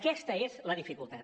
aquesta és la dificultat